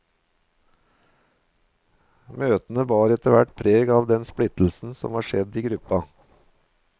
Møtene bar etterhvert preg av den splittelsen som var skjedd i gruppa.